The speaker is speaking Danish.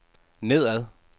nedad